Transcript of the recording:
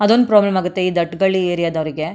ಅದೊಂದು ಪ್ರಾಬ್ಲಮ್ ಆಗುತ್ತೆ ಈ ದಟ್ಟಗಳ್ಳಿ ಏರಿಯಾ ದವರಿಗೆ.